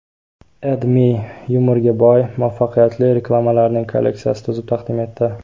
AdMe yumorga boy, muvaffaqiyatli reklamalarning kolleksiyasini tuzib taqdim etdi .